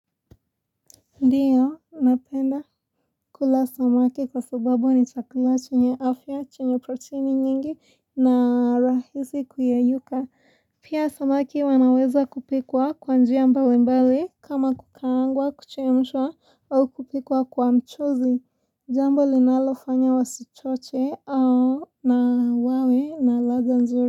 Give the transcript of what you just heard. Ndiyo napenda kula samaki kwa sababu ni chakula chenye afya chenye proteini nyingi na rahisi kuyeyuka. Pia samaki wanaweza kupikwa kwa njia mbali mbali kama kukaangwa kuchemshwa au kupikwa kwa mchuzi jambo linalofanya wasichote na wawe na ladha nzuri.